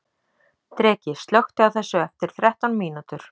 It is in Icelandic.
Dreki, slökktu á þessu eftir þrettán mínútur.